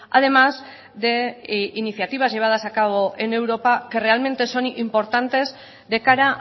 además de iniciativas llevadas a cabo en europa que realmente son importantes de cara